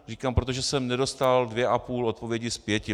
Říkám, protože jsem nedostal dvě a půl odpovědi z pěti.